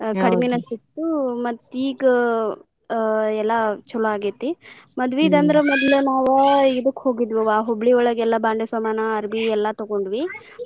ಕಡಿಮಿನ ಸಿಕ್ತು ಮತ್ತ ಈಗ ಆ ಎಲ್ಲಾ ಚೊಲೊ ಆಗೇತಿ ಮದ್ವಿದ್ ಅಂದ್ರ ಮೊದ್ಲ ನಾವ ಇದಕ್ಕ್ ಹೋಗಿದ್ವಿವಾ ಹುಬ್ಳಿಯೊಳಗ್ ಎಲ್ಲಾ ಬಾಂಡೆ ಸಮಾನಾ ಅರ್ಬಿ ಎಲ್ಲಾ ತುಗೊಂಡ್ವಿ .